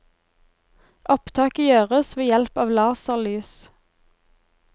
Opptaket gjøres ved hjelp av laserlys.